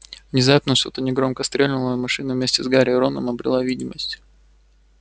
внезапно что-то негромко стрельнуло и машина вместе с гарри и роном обрела видимость